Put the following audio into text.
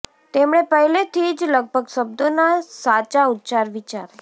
તેમણે પહેલેથી જ લગભગ શબ્દોના સાચા ઉચ્ચાર વિચારે